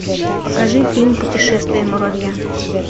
покажи фильм путешествие муравья